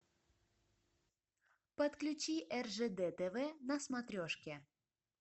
подключи ржд тв на смотрешке